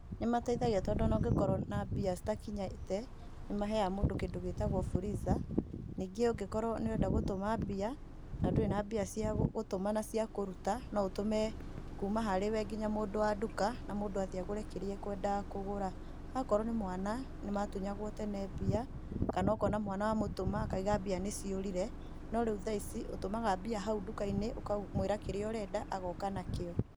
Nĩmateithagia tondũ o na ũngĩkorwo na mbia citakinyĩte nĩ maheyaga mũndũ kĩndũ gĩtagwo fuliza, ningĩ ũngĩkorwo nĩũrenda gũtũma mbia na ndũrĩ na mbia cia gũtũma na cia kũruta, no ũtũme kũma harĩwe nginya mũndũ wa ndũka, na mũndũ athiĩ agũre kĩrĩa ekwendaga kũgũra, okorwo nĩ mwana nĩ matunyagwo tene mbia, kana ũkona mwana wamũtũma akaũga mbia nĩciũrire no rĩu thaa ici ũtũmaga mbia hau ndũka-inĩ ũkamũĩra kĩrĩa ũrenda agoka na kĩo.